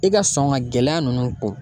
I ka sɔn ŋa gɛlɛya ninnu ku